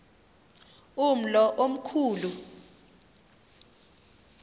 umlo omkhu lu